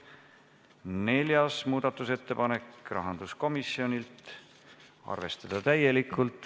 Neljas muudatusettepanek, rahanduskomisjonilt, arvestada täielikult.